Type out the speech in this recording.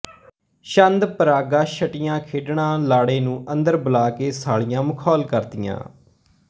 ਛੰਦ ਪਰਾਗਾ ਛਟੀਆਂ ਖੇਡਣਾਲਾੜੇ ਨੂੰ ਅੰਦਰ ਬੁਲਾ ਕੇ ਸਾਲੀਆਂ ਮਖੌਲ ਕਰਦੀਆਂ